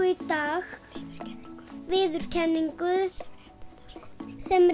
í dag viðurkenningu sem